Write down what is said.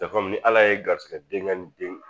ni ala ye garizigɛ denkɛ ni den